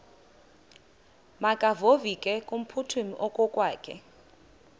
makevovike kumphuthumi okokwakhe